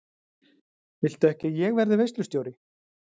Viltu ekki að ég verði veislustjóri?